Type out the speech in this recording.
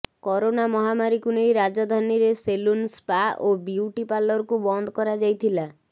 corona ମହାମାରୀକୁ ନେଇ ରାଜଧାନୀରେ ସେଲୁନ ସ୍ପା ଓ ବ୍ୟୁଟି ପାରଲରକୁ ବନ୍ଦ କରାଯାଇଥିଲା